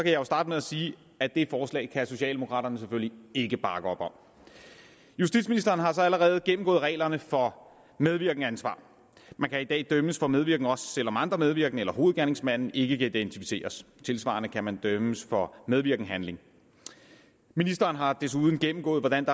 jeg starte med at sige at det forslag kan socialdemokraterne selvfølgelig ikke bakke op om justitsministeren har så allerede gennemgået reglerne for medvirkensansvar man kan i dag dømmes for medvirken også selv om andre medvirkende eller hovedgerningsmanden ikke kan identificeres tilsvarende kan man dømmes for medvirkenshandling ministeren har desuden gennemgået hvordan